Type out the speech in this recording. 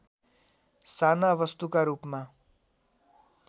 साना वस्तुका रूपमा